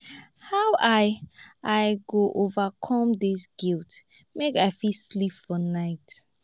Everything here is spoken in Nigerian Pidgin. how i i go overcome dis guilt make i fit sleep for night?